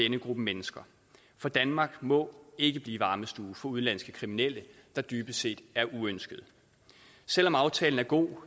gruppe mennesker for danmark må ikke blive varmestue for udenlandske kriminelle der dybest set er uønskede selv om aftalen er god